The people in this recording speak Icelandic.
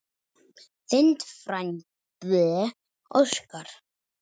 Þinn frændi Óskar.